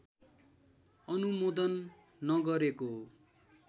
अनुमोदन नगरेको